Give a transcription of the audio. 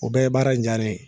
O bɛ baara in diya ne ye.